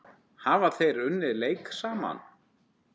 Hafa þeir unnið leik saman?